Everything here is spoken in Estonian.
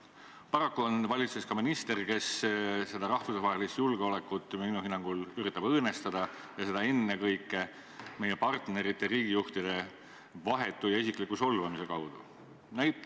Paraku on valitsuses ka minister, kes seda rahvusvahelist julgeolekut minu hinnangul üritab õõnestada ja seda ennekõike meie partnerite riigijuhtide vahetu ja isikliku solvamise kaudu.